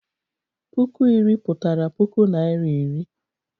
Puku iri pụtara puku Naịra iri.